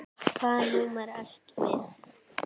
Hvaða númer ertu með?